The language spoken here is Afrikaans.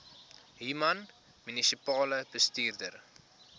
human munisipale bestuurder